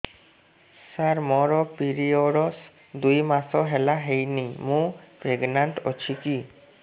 ସାର ମୋର ପିରୀଅଡ଼ସ ଦୁଇ ମାସ ହେଲା ହେଇନି ମୁ ପ୍ରେଗନାଂଟ ଅଛି କି